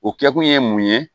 O kɛkun ye mun ye